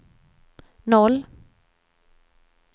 noll